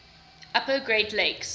upper great lakes